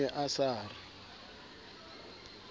o ne a sa re